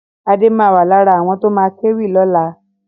Adé ma wà lára àwọn tó ma kéwì lọ́la